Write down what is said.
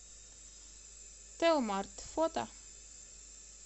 телмарт фото